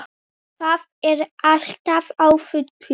Það er allt á fullu.